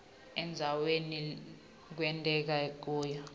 endzaweni lekwenteke kuyo